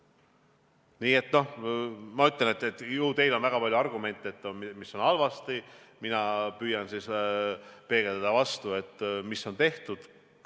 Nii et ju teil on väga palju argumente, mis on halvasti, aga mina püüan peegeldada vastu seda, mis on ära tehtud.